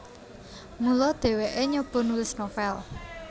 Mula dhèwèké nyoba nulis novel